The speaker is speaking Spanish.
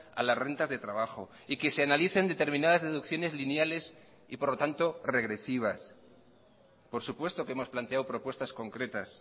a las rentas de trabajo y que se analicen determinadas deducciones lineales y por lo tanto regresivas por supuesto que hemos planteado propuestas concretas